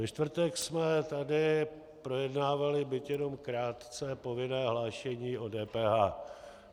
Ve čtvrtek jsme tady projednávali, byť jenom krátce, povinné hlášení o DPH.